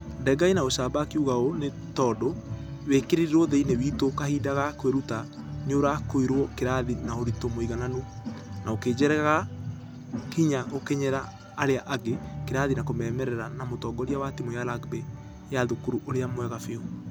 Denga ĩnaũcamba akĩuga ũũ nĩ tũndũ ....wĩkerirwo thĩinĩ witũ kahinda ga kwĩruta nĩũrakuirwo kĩrathi na ũritũ mũigananu . Na ũkĩjekerq hinya gũkinyera arĩa angĩ kĩrathi na kuumerera na mũtongoria wa timũ ya rugby ya thukuru ũrĩa mwega biũ.